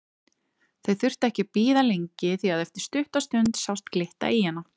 Þau þurftu ekki að bíða lengi því að eftir stutta stund sást glitta í hana.